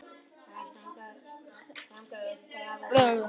Engin viðvörun var gefin út af hinu opinbera og voru íbúar því alls óviðbúnir.